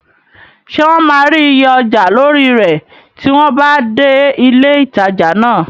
Ṣé wọn máa rí iye ọjà lórí rẹ̀ tí wọ́n bá dé ilé ìtajà náà?